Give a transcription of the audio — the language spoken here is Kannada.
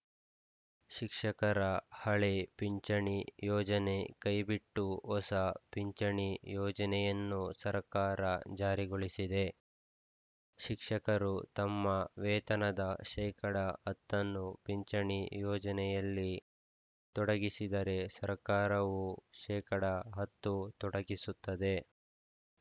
ಶಿಕ್ಷಕರ ಹಳೆ ಪಿಂಚಣಿ ಯೋಜನೆ ಕೈಬಿಟ್ಟು ಹೊಸ ಪಿಂಚಣಿ ಯೋಜನೆಯನ್ನು ಸರಕಾರ ಜಾರಿಗೊಳಿಸಿದೆ ಶಿಕ್ಷಕರು ತಮ್ಮ ವೇತನದ ಶೇಕಡಾ ಹತ್ತನ್ನು ಪಿಂಚಣಿ ಯೋಜನೆಯಲ್ಲಿ ತೊಡಗಿಸಿದರೆ ಸರಕಾರವು ಶೇಕಡಾ ಹತ್ತು ತೊಡಗಿಸುತ್ತದೆ